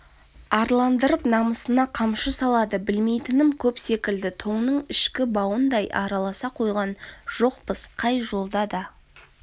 арландырып намысына қамшы салады білмейтінім көп секілді тонның ішкі бауындай араласа қойған жоқпыз қай жолда да